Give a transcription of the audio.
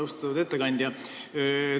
Austatud ettekandja!